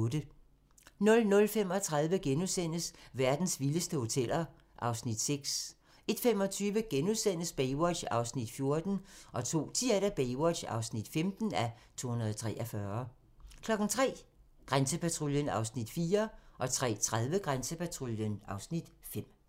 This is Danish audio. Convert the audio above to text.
00:35: Verdens vildeste hoteller (Afs. 6)* 01:25: Baywatch (14:243)* 02:10: Baywatch (15:243) 03:00: Grænsepatruljen (Afs. 4) 03:30: Grænsepatruljen (Afs. 5)